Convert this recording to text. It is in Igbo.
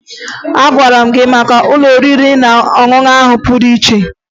Agwara m gị maka ụlọ oriri na ọṅụṅụ ahụ pụrụ iche